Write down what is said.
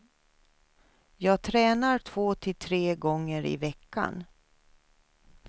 Jag tränar två till tre gånger i veckan.